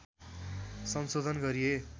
संशोधन गरिए